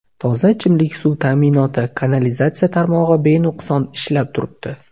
Toza ichimlik suv ta’minoti, kanalizatsiya tarmog‘i benuqson ishlab turibdi.